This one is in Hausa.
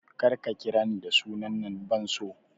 Kar ka ƙira ni da sunan nan ban so!